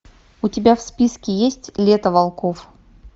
у тебя в списке есть лето волков